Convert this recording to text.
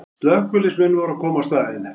Slökkviliðsmenn voru að koma á staðinn